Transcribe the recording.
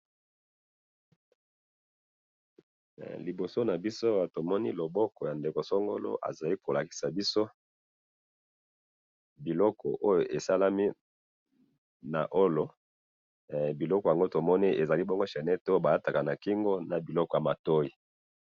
Liboso na biso awa tomoni loboko ya ndeko songolo azali kolakisa biso biloko oyo esalemi na wolo biloko yango tomoni ezali bongo chainette oyo balataka na kingo na biloko ya matoi